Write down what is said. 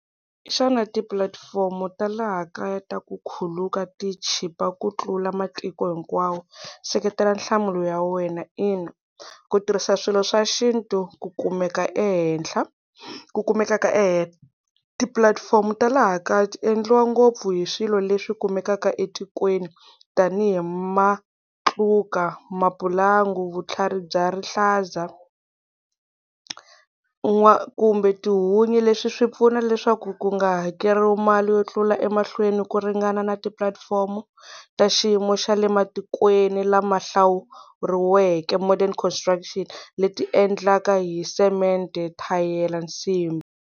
Hiswona tipulatifomo ta laha kaya ta ku khuluka ti chipa ku tlula matiko hinkwawo, seketela nhlamulo ya wena. Ina ku tirhisa swilo swa xintu ku kumeka ehenhla, ku kumeka ka . Tipulatifomo ta laha kaya ti endliwa ngopfu hi swilo leswi kumekaka etikweni tanihi matluka, mapulangu, vutlhari bya rihlaza, kumbe tihunyi leswi swi pfuna leswaku ku nga hakeriwi mali yo tlula emahlweni ku ringana na tipulatifomo ta xiyimo xa le matikweni lama hlawuriweke modern constructions, leti endlaka hi cement-e, thayele, nsimbi.